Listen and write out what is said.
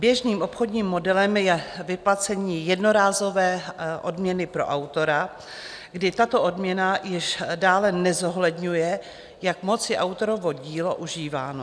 Běžným obchodním modelem je vyplacení jednorázové odměny pro autora, kdy tato odměna již dále nezohledňuje, jak moc je autorovo dílo užíváno.